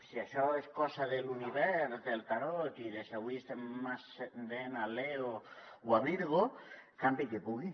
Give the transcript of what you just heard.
si això és cosa de l’univers del tarot i de si avui estem en ascendent a leo o a virgo campi qui pugui